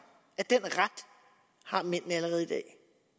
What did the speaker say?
at den ret har mændene allerede i dag